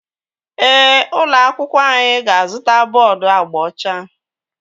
Ee, ụlọ akwụkwọ anyị ga-azụta bọọdu agba ọcha